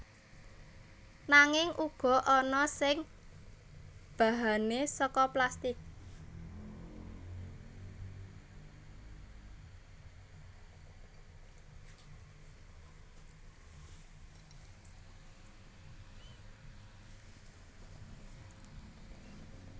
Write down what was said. Nanging uga ana sing bahane saka plastik